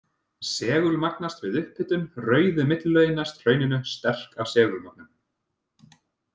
Segulmagnast við upphitun, rauðu millilögin næst hrauninu sterk af segulmögnun.